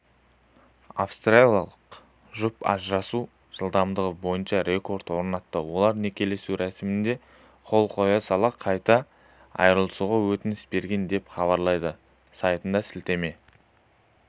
австралиялық жұп ажырасу жылдамдығы бойынша рекорд орнатты олар некелесу рәсімінде қол қоя сала қайта айырылысуға өтініш берген деп хабарлайды сайтына сілтеме